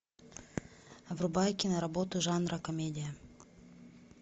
врубай киноработу жанра комедия